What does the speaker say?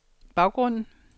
baggrunden